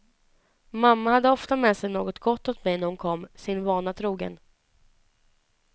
Mamma hade ofta med sig något gott åt mig när hon kom, sin vana trogen.